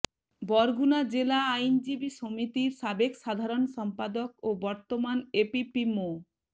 বরগুনা জেলা আইনজীবী সমিতির সাবেক সাধারণ সম্পাদক ও বর্তমান এপিপি মো